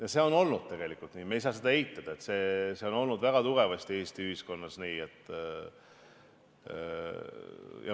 Ja see on olnud tegelikult nii, me ei saa seda eitada, see on olnud väga tugevasti Eesti ühiskonnas nii.